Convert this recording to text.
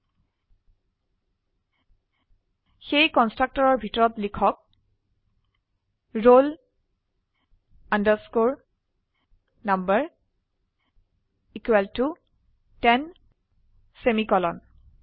সেয়ে কনস্ট্ৰাক্টৰৰ ভিতৰত লিখক roll number equal to 10 semicolon